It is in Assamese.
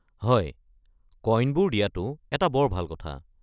হয়, কইনবোৰ দিয়াটো এটা বৰ ভাল কথা।